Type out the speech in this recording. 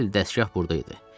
Əsl dəsgah burda idi.